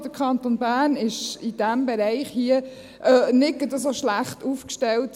Der Kanton Bern ist in diesem Bereich nicht gerade so schlecht aufgestellt.